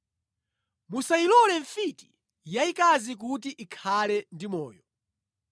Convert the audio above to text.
“Musayilole mfiti yayikazi kuti ikhale ndi moyo.